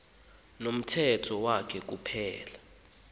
nomthetho wakhe kuphela